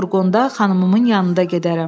Mən furqonda xanımımın yanında gedərəm.